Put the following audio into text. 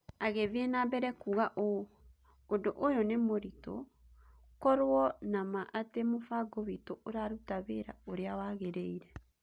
Agĩthiĩ na mbere kuuga ũũ: "Ũndũ ũyũ nĩ mũritũ. Korũo na ma atĩ mũbango witũ ũraruta wĩra ũrĩa wagĩrĩire".